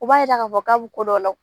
U b'a yira k'a fɔ k'a bi ko dɔ la.